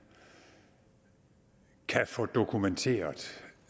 kan få dokumenteret